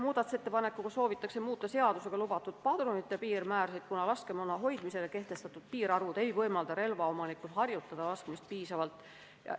Selle ettepanekuga soovitakse muuta seadusega lubatud padrunite piirmäärasid, kuna senised laskemoona hoidmisele kehtestatud piirmäärad ei võimalda relvaomanikul laskmist piisavalt harjutada.